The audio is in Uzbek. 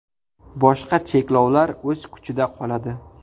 Boshqa cheklovlar o‘z kuchida qoladi.